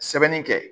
Sɛbɛnni kɛ